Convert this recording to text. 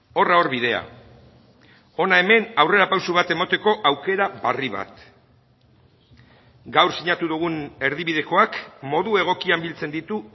horra hor bidea hona hemen aurrerapauso bat emateko aukera berri bat gaur sinatu dugun erdibidekoak modu egokian biltzen ditu